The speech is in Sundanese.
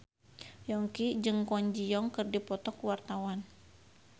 Yongki jeung Kwon Ji Yong keur dipoto ku wartawan